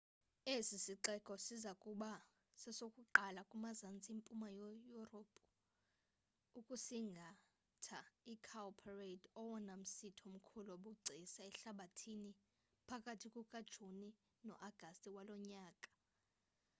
esi sixeko siza kuba sesokuqala kumazantsi mpuma yurophu ukusingatha icowparade owona msitho mkhulu wobugcisa ehlabathini phakathi kukajuni no-agasti walo nyaka